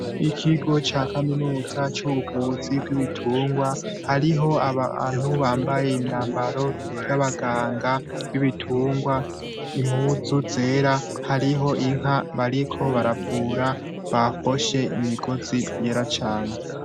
Ikigo ca Kaminuza c'ubuvuzi bw'ibitungwa hariho abantu bambaye imyambaro, y'abaganga bibitungwa impuzu zera hariho inka bariko baravura, baboshe imigozi yera cane .